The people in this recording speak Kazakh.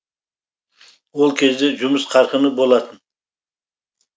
ол кезде жұмыс қарқыны болатын